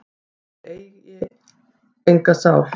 að þeir sem eiga enga sál